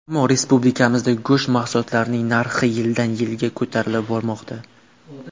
Ammo respublikamizda go‘sht mahsulotlarining narxi yildan-yilga ko‘tarilib bormoqda.